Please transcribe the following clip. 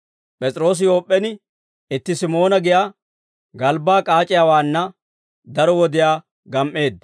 P'es'iroosi Yoop'p'en itti Simoona giyaa galbbaa k'aac'iyaawaanna daro wodiyaa gam"eedda.